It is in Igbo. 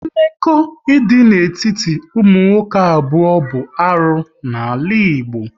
Mmekọ idị n'etiti ụmụ nwoke abụọ bụ arụ n'ala Igbo